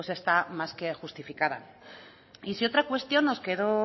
pues está más que justificada y si otra cuestión nos quedó